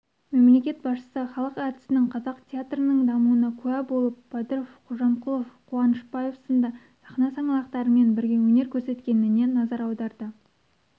мемлекет басшысы халық әртісінің қазақ театрының дамуына куә болып бадыров қожамқұлов қуанышбаев сынды сахна саңлақтарымен бірге өнер көрсеткеніне назар аударды